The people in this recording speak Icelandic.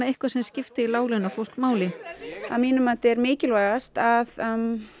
eitthvað sem skipti láglaunafólk máli að mínu mati er mikilvægast að